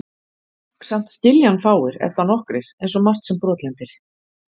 Samt skilja hann fáir, ef þá nokkrir, einsog margt sem brotlendir.